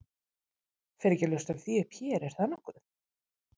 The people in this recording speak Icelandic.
Fer ekki að ljóstra því upp hér, er það nokkuð?